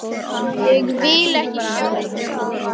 Ég vil ekki sjá þær.